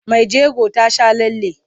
Mai jego ta sha lalle.